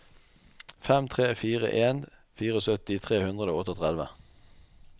fem tre fire en syttifire tre hundre og trettiåtte